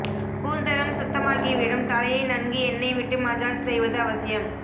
கூந்தலும் சுத்தமாகிவிடும் தலையை நன்கு எண்ணெய் விட்டு மஜாஜ் செய்வது அவசியம்